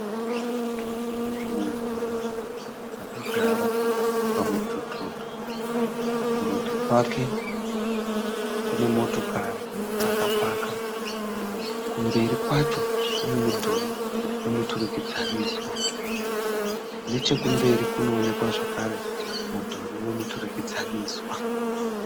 Munhurume akagara pamudhudhu. Kurudyi kwakwe kune motokari dzakapaka. Kumberi kwacho kune mudhuri wemuturikidzaniswa. Nechekumberi kunooneka zvakare mudhuri wemuturikidzaniswa.